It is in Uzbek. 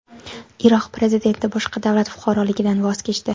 Iroq prezidenti boshqa davlat fuqaroligidan voz kechdi.